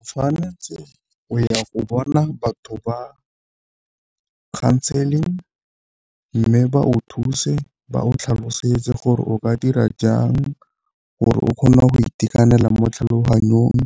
O tshwanetse o ya go bona batho ba counseling, mme ba o thuse ba o tlhalosetse gore o ka dira jang gore o kgona go itekanela mo tlhaloganyong,